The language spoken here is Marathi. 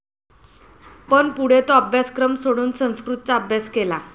पण पुढे तो अभ्यासक्रम सोडून संस्कृतचा अभ्यास केला.